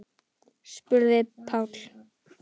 spurði Páll.